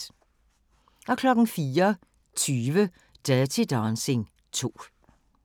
04:20: Dirty Dancing 2